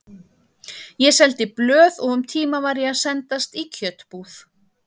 Ég seldi blöð og um tíma var ég að sendast í kjötbúð.